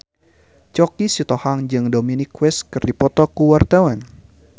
Choky Sitohang jeung Dominic West keur dipoto ku wartawan